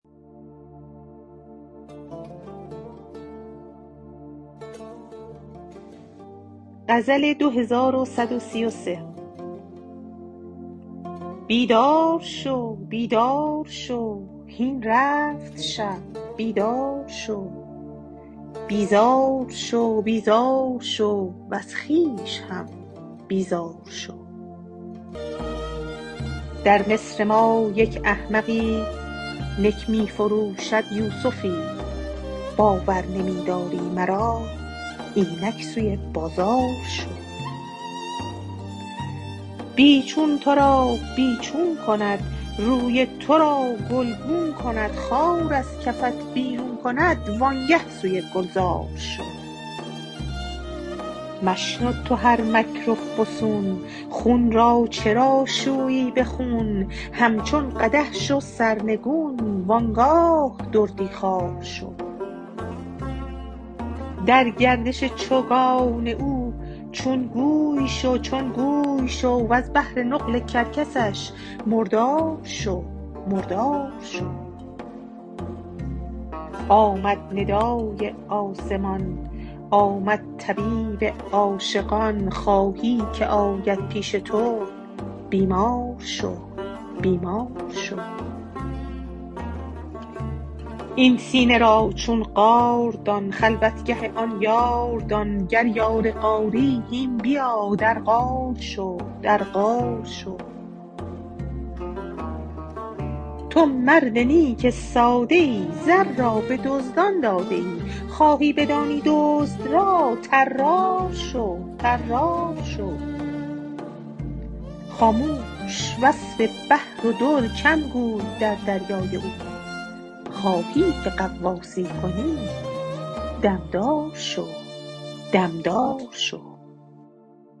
بیدار شو بیدار شو هین رفت شب بیدار شو بیزار شو بیزار شو وز خویش هم بیزار شو در مصر ما یک احمقی نک می فروشد یوسفی باور نمی داری مرا اینک سوی بازار شو بی چون تو را بی چون کند روی تو را گلگون کند خار از کفت بیرون کند وآنگه سوی گلزار شو مشنو تو هر مکر و فسون خون را چرا شویی به خون همچون قدح شو سرنگون و آن گاه دردی خوار شو در گردش چوگان او چون گوی شو چون گوی شو وز بهر نقل کرکسش مردار شو مردار شو آمد ندای آسمان آمد طبیب عاشقان خواهی که آید پیش تو بیمار شو بیمار شو این سینه را چون غار دان خلوتگه آن یار دان گر یار غاری هین بیا در غار شو در غار شو تو مرد نیک ساده ای زر را به دزدان داده ای خواهی بدانی دزد را طرار شو طرار شو خاموش وصف بحر و در کم گوی در دریای او خواهی که غواصی کنی دم دار شو دم دار شو